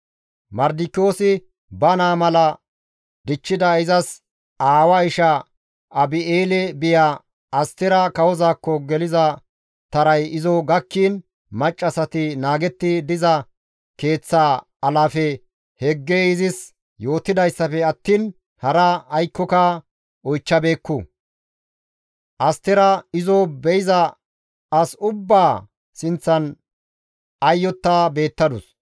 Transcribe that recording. Mardikiyoosi ba naa mala dichchida izas aawaa isha Abi7eele biya Astera kawozaakko geliza taray izo gakkiin maccassati naagetti diza keeththaa alaafe Heggey izis yootidayssafe attiin hara aykkoka oychchabeekku. Astera izo be7iza as ubbaa sinththan ayyotta beettadus.